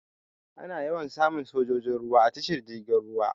Ana yawan samun sojojin ruwa a tashar jirgin ruwa.